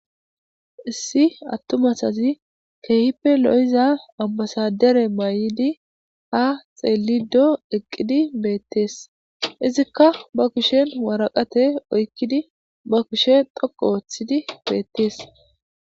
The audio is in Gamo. issi attumasazi keehippe lo7iza ambasadere may7idi ha xeelido eqqidi beettees izikka ba kushen waraqate oykkidi ba kushe doqo ooththidi beettees